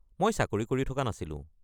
মই চাকৰি কৰি থকা নাছিলোঁ।